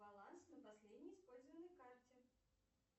баланс на последней использованной карте